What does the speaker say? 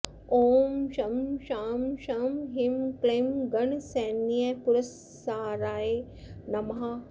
ॐ शं शां षं ह्रीं क्लीं गणसैन्यपुरस्सराय नमः